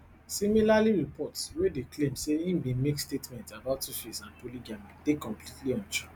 similarly reports wey dey claim say im bin make statements about tuface and polygamy dey completely untrue